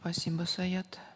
спасибо саят